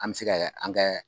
An mi se kɛ an kɛ